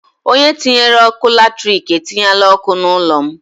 Onye tinyere ọkụ latrik etinyela ọkụ n'ụlọ m.